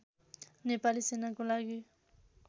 नेपाली सेनाको लागि